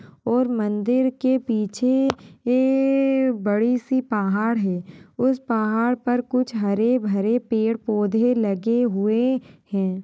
और मन्दिर के पीछे ए-ए-ए बड़ी सी पहाड़ है उसे पहाड़ पर कुछ हरे भरे पेड़ पौधे लगे हुए हैं।